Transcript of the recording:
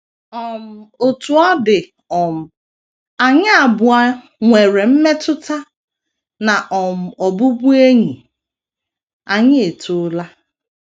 um Otú ọ dị um, anyị abụọ nwere mmetụta na um ọbụbụenyi anyị etoola.